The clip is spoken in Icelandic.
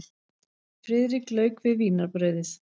Friðrik lauk við vínarbrauðið.